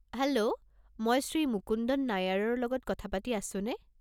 Hello! মই শ্ৰী মুকুন্দন নায়াৰৰ লগত কথা পাতি আছোনে?